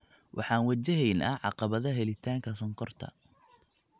Waxaan wajahaynaa caqabada helitaanka sonkorta.